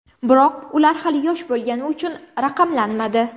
Biroq ular hali yosh bo‘lganligi uchun raqamlanmadi.